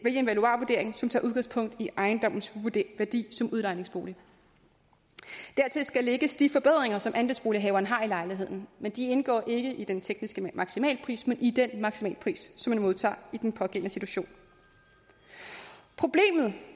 valuarvurdering som tager udgangspunkt i ejendommens værdi som udlejningsbolig dertil skal lægges de forbedringer som andelsbolighaveren har lavet i lejligheden men de indgår ikke i den tekniske maksimalpris men i den maksimalpris som man modtager i den pågældende situation problemet